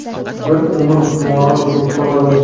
bir umr xumori bo‘lib qoladi.